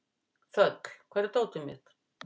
Þöll, hvar er dótið mitt?